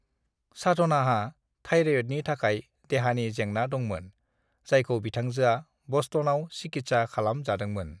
"साधनाहा थायराइडनि थाखाय देहानि जेंना दंमोन, जायखौ बिथांजोआ ब'स्टनाव सिकितसा खामाम जादोंमोन ।"